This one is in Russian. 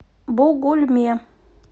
бугульме